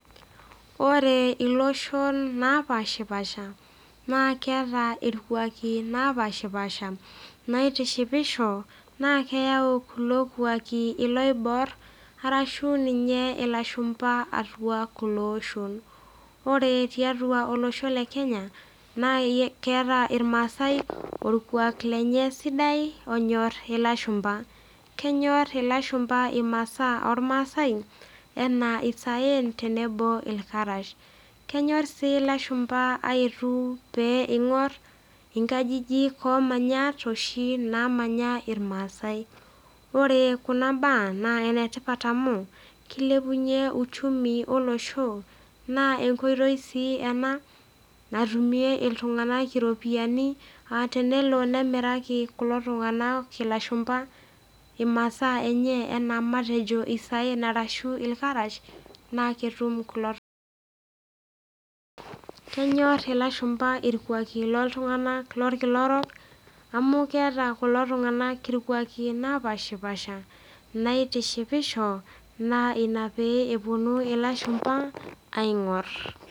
Ore iloshon napaashipaasha naa keata ilkwaaki napaashipaasha, naitishipisho, naa keyau kulo kuaki iloibor arashu ninye ilashumba atua kulo oshon. Ore ninye tiatua olosho le Kenya, naa keata ilmaasai ilkwaaki lenye sidai onyor ilashumba. Kenyor ilashumba imasaa olmaasai, anaa isaen, tenebo ilkarash. Kenyor sii ilashumba aetu pee eing'or inkajijik oo manyatt oshi naamanya ilmaasai. Ore kuna baa naa inetipat amu, keilepunye uchumi olosho, naa enkoitoi sii ena natumie iltung'ana iropiani aa tenelo nemiraki kulo tung'ana ilashummba imasaa enye, anaa matejo isaen arashu ilkarash, naa ketum kulo . Kenyor ilashumba ilkwaaki looltung'ana lolkila orok amu keata kulo tung'ana ilkwaaki napaashipaasha, naitishipisho naa ina pee epuonu ilashumba aing'or.